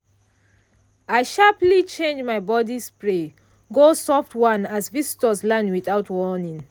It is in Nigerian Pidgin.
i sharperly change my body spray go soft one as visitors land without warning.